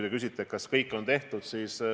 Te küsite, kas kõik võimalik on tehtud.